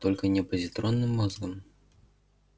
только не позитронным мозгом